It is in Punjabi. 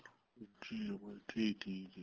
ਠੀਕ ਆ ਠੀਕ ਠੀਕ ਜੀ